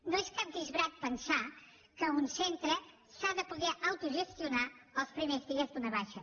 no és cap disbarat pensar que un centre s’ha de poder autogestionar els primers dies d’una baixa